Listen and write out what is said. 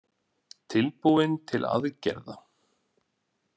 Tilbúin til aðgerða